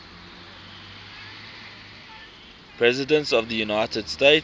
presidents of the united states